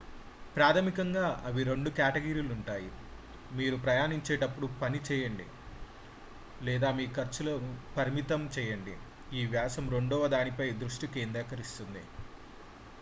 ప్రాథమికంగా అవి రెండు కేటగిరీలుగా ఉంటాయి మీరు ప్రయాణించేటప్పుడు పని చేయండి లేదా మీ ఖర్చులను పరిమితం చేయండి ఈ వ్యాసం రెండవ దాని పై దృష్టి కేంద్రీకరిస్తుంది